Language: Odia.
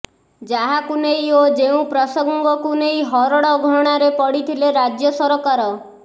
ଯାହାକୁ ନେଇ ଓ ଯେଉଁ ପ୍ରସଙ୍ଗକୁ ନେଇ ହରଡଘଣାରେ ପଡିଥିଲେ ରାଜ୍ୟ ସରକାର